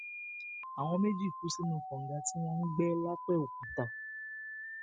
àwọn méjì kú sínú kànga tí wọn ń gbẹ lápèokúta